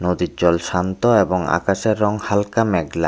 নদীর জল শান্ত এবং আকাশের রং হালকা মেঘলা।